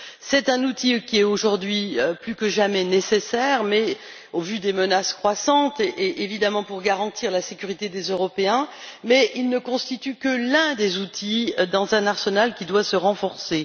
C'est un outil qui est, aujourd'hui plus que jamais, nécessaire, au vu des menaces croissantes et, évidemment, pour garantir la sécurité des Européens, mais il ne constitue que l'un des outils d'un arsenal qui doit se renforcer.